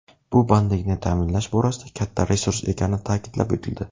Bu bandlikni ta’minlash borasida katta resurs ekani ta’kidlab o‘tildi.